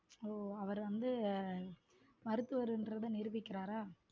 ஓஹ அவரு வந்த மருத்துவர்னு நிரூபிக்கிறாரா.